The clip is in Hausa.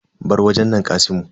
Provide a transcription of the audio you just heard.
Bar wajen nan kasimu.